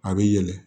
A bɛ yɛlɛ